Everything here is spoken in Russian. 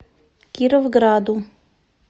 кировграду